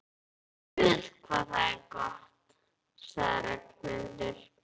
Guð hvað það er gott sagði Ragnhildur.